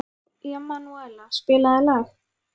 Emanúela, spilaðu lag.